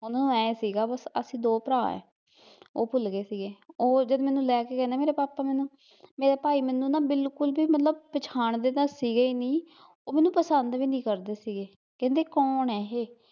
ਓਹਨੂੰ ਐ ਸੀਗਾ ਬਸ ਵੀ ਅਸੀਂ ਦੋ ਭਰਾ ਐ ਓਹ ਭੁੱਲਗੇ ਸੀਗੇ, ਓਹ ਜਦ ਮੈਨੂੰ ਲੈ ਕੇ ਗਏ ਨਾ ਮੇਰੇ ਪਾਪਾ ਮੈਨੂੰ ਮੇਰੇ ਭਾਈ ਮੈਨੂੰ ਬਿਲਕੁਲ ਵੀ ਮਤਲਬ, ਪਛਾਣਦੇ ਤਾਂ ਸੀਗੇ ਈ ਨੀ ਓਹ ਮੈਨੂੰ ਪਸੰਦ ਵੀ ਨੀ ਕਰਦੇ ਸੀਗੇ, ਕਹਿੰਦੇ ਕੋਣ ਐ ਏਹ